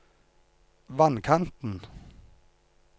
vannkanten